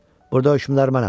Burda hökmdar mənəm.